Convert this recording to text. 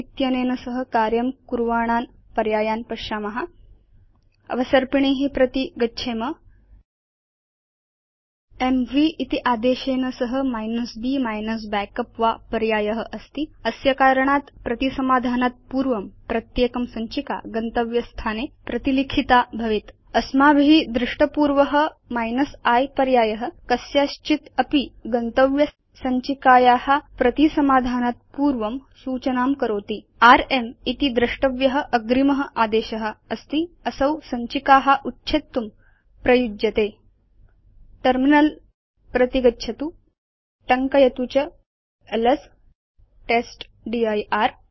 इत्यनेन सह कार्यं कुर्वाणान् पर्यायान् पश्याम अवसर्पिणी प्रति गच्छेम एमवी इति आदेशेन सह b -backup वा पर्याय अस्ति अस्य कारणात् प्रतिसमाधानात् पूर्वं प्रत्येकं सञ्चिका गन्तव्ये स्थाने प्रतिलिखिता भवेत् अस्माभि दृष्टपूर्व i पर्याय कस्याश्चित् अपि गन्तव्य सञ्चिकाया प्रतिसमाधानात् पूर्वं सूचनां करोति र्म् इति द्रष्टव्य अग्रिम आदेशअस्ति असौ सञ्चिका उच्छेत्तुम् उपयुज्यते टर्मिनल प्रति गच्छतु टङ्कयतु च एलएस टेस्टदिर्